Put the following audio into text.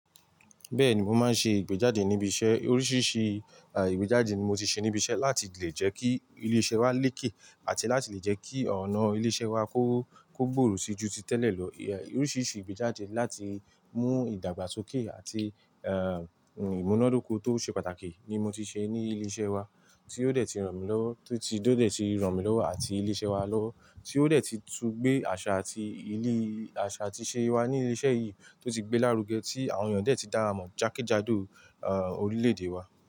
Bẹ́ẹ̀ni, mo máa ń ṣe ìgbéjáde níbi iṣẹ́. Oríṣiríṣi ìgbéjáde ni mo ti ṣe níbi iṣẹ́ láti lè jẹ́ kí ilé-iṣẹ́ wa lékè àti láti lè jẹ́ kí ọ̀nà ilé-iṣẹ́ wa kó, kó gbòòrò sí ju tí tẹ́lẹ̀ lọ. Oríṣiríṣi ìgbéjáde láti mú ìdàgbàsókè àti, eeh, ìmúnádóko tó ṣe pàtàkì ni mo ti ṣe ní ilé-iṣẹ́ wa tí ó dẹ̀ ti ràn mí lọ́wọ́, tí ó dẹ̀ ti ràn mí lọ́wọ́ àti ilé-iṣẹ́ wa lọ́wọ́, tí ó dẹ̀ ti tún gbé àṣà àti ìlí, àṣà àti ìṣe wa ní ilé-iṣẹ́ yìí tó ti gbé lárugẹ tí àwọn èèyàn dẹ̀ ti dáwa mọ̀ jákèjádò, ah, orílẹ̀-èdè wa.